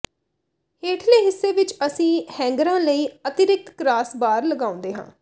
ਹੇਠਲੇ ਹਿੱਸੇ ਵਿੱਚ ਅਸੀਂ ਹੈਂਗਰਾਂ ਲਈ ਅਤਿਰਿਕਤ ਕ੍ਰਾਸ ਬਾਰ ਲਗਾਉਂਦੇ ਹਾਂ